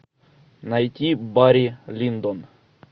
найти барри линдон